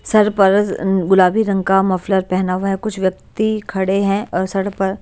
sir पर गुलाबी रंग का मफलर पहना हुआ है कुछ व्यक्ति खड़े हैं और सर पर--